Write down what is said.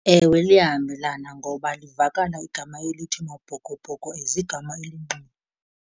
Ewe, liyahambelana ngoba livakala igama elithi maBhokoBhoko as igama elingqi.